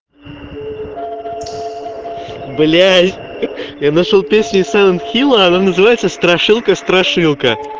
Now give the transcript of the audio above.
блядь я нашёл песню из селен хила она называется страшилка страшилка